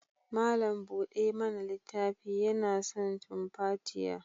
Malam bude mana littafin yana son tumfatiya.